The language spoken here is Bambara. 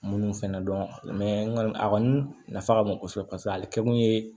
Munnu fɛnɛ dɔn kɔni a kɔni nafa ka bon kosɛbɛ paseke ale kɛkun ye